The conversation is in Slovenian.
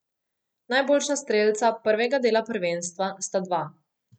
Najboljša strelca prvega dela prvenstva sta dva.